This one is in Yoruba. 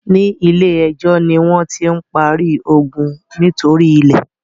ní ilè ejó ní wón tí ń parí iogun nítorí ilè.